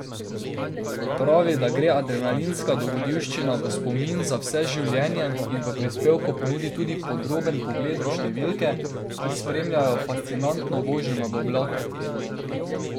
Pravi, da gre adrenalinska dogodivščina v spomin za vse življenje in v prispevku ponudi tudi podroben pogled v številke, ki spremljajo fascinantno vožnjo nad oblake.